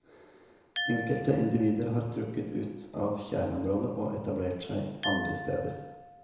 Enkelte individer har trukket ut av kjerneområdet og etablert seg andre steder.